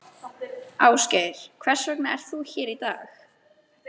Ásgeir: Hvers vegna ert þú hér í dag?